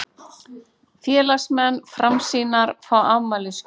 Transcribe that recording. Félagsmenn Framsýnar fá afmælisgjöf